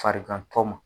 Farigantɔ ma